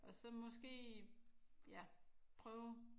Og så måske ja prøve